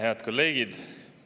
Head kolleegid!